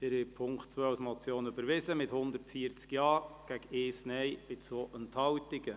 Sie haben den Punkt 2 der Motion angenommen, mit 140 Ja-Stimmen, 1 Nein-Stimme und 2 Enthaltungen.